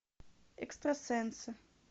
экстрасенсы